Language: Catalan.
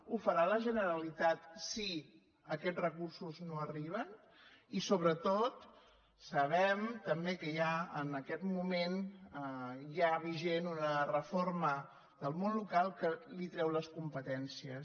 ho farà la generalitat si aquests recursos no arriben i sobretot sabem també que hi ha en aquest moment ja vigent una reforma del món local que li treu les competències